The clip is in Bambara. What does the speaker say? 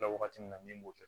wagati min na min b'o kɛ